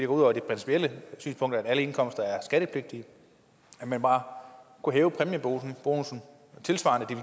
ud over det principielle synspunkt at alle indkomster er skattepligtige bare kunne hæve præmiebonussen tilsvarende